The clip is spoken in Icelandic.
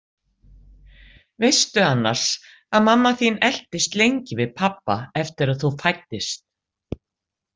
Veistu annars að mamma þín eltist lengi við pabba eftir að þú fæddist?